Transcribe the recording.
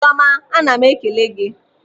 Chiọma ana m ekele gị.